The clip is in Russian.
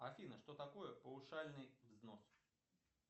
афина что такое паушальный взнос